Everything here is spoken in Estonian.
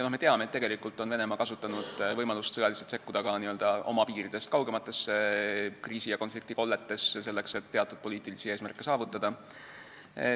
Me teame, et Venemaa on kasutanud võimalust sõjaliselt sekkuda ka n-ö oma piiridest kaugematesse kriisi- ja konfliktikolletesse, selleks et teatud poliitilisi eesmärke saavutada.